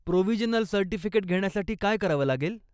Provisional certificate घेण्यासाठी काय करावं लागेल?